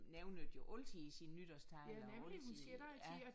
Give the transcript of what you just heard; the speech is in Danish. Nævnte jo altid i sin nytårstale og altid ja